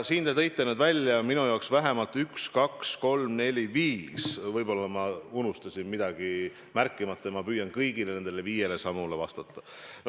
Te tõite välja üks, kaks, kolm, neli, viis sammu ja ma püüan kõigile nendele viiele sammule vastata.